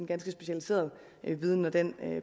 ganske specialiseret viden når den